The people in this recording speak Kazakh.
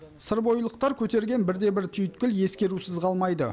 сырбойылықтар көтерген бірде бір түйіткіл ескерусіз қалмайды